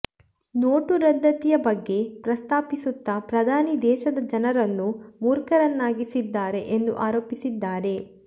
note ರದ್ದತಿಯ ಬಗ್ಗೆ ಪ್ರಸ್ತಾಪಿಸುತ್ತಾ ಪ್ರಧಾನಿ ದೇಶದ ಜನರನ್ನು ಮೂರ್ಖರನ್ನಾಗಿಸಿದ್ದಾರೆ ಎಂದು ಆರೋಪಿಸಿದ್ದಾರೆ